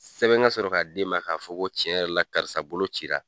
Sɛbɛn ka sɔrɔ k'a d'e ma k'a fɔ ko cɛn yɛrɛ la karisa bolo cira.